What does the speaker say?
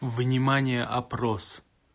внимание опрос